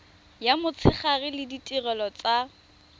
ya motshegare le ditirelo tsa